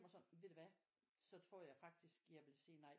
Og sådan ved du hvad så tror jeg faktisk jeg vil sige nej